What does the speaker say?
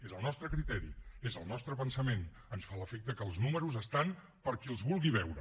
és el nostre criteri és el nostre pensament ens fa l’efecte que els números estan per a qui els vulgui veure